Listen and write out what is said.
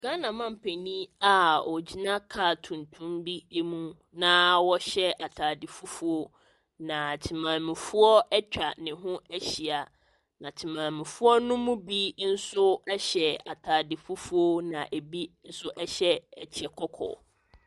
Ghana manpanin a ogyina afidie hyɛn tuntum bi ho na ɔhyɛ ataadeɛ fufuo na temanmufoɔ atwa ne ho ahyia na temanmufoɔ no bi nso ɛhyɛ ataade fufuo na ɛbi nso hyɛ ɛkyɛ kɔkɔɔ.